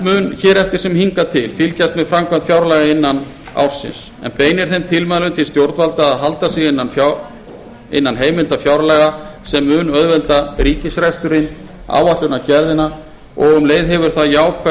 mun hér eftir sem hingað til fylgjast með framkvæmd fjárlaga innan ársins en beinir þeim tilmælum til stjórnvalda að halda sig innan heimilda fjárlaga sem mun auðvelda ríkisreksturinn áætlunargerðina og um leið hefur það jákvæð